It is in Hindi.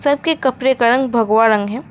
सबके कपड़े का रंग भगवा रंग है।